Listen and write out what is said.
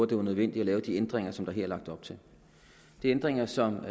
det var nødvendigt at lave de ændringer som der er lagt op til det er ændringer som